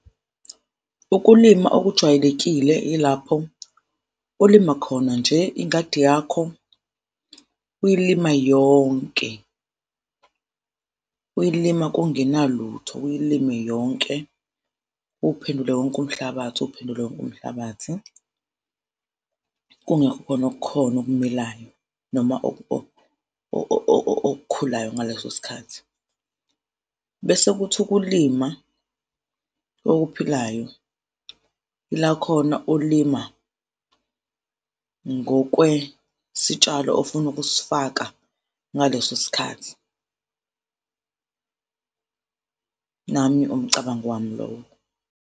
Ukulima okujwayelekile ilapho olima khona nje ingadi yakho uyilima yonke, uyilima kungenalutho, uyilime yonke, uwuphendule wonke umhlabathi, uwuphendule wonke umhlabathi, kungekho khona okukhona okumilayo noma okukhulayo ngaleso sikhathi. Bese kuthi ukulima okuphilayo yila khona ulima ngokwesitshalo ofuna ukusifaka ngaleso sikhathi, nami umcabango wami lowo.